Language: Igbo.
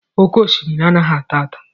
Oké osimiri anaghị ata ata